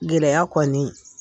Gɛlɛya kɔɔni.